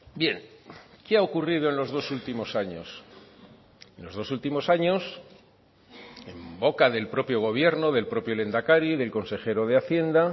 bien qué ha ocurrido en los dos últimos años en los dos últimos años en boca del propio gobierno del propio lehendakari del consejero de hacienda